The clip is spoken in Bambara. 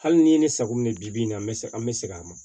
Hali ni ye ne sago minɛ bi nin na n bɛ se an bɛ segin a ma